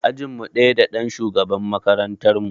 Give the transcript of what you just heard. Ajinmu ɗaya da ɗan shugaban makarantar mu.